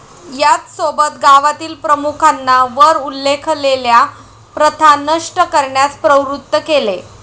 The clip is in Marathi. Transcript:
याचसोबत गावातील प्रमुखांना वर उल्लेखलेल्या प्रथा नष्ट करण्यास प्रवृत्त केले.